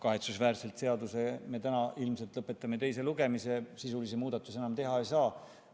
Kahetsusväärselt me täna ilmselt lõpetame eelnõu teise lugemise, sisulisi muudatusi enam teha ei saa.